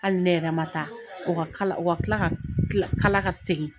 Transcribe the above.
Hali ne yɛrɛ ma taa, o ka kala o ka kila ka kila kala ka segin.